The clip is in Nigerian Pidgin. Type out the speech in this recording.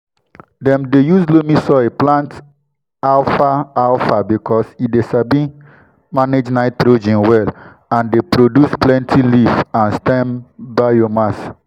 dem dey use loamy soil plant alfalfa because e sabi manage nitrogen well and dey produce plenty leaf and stem (biomass).